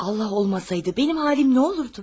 Allah olmasaydı, mənim halım nə olurdu?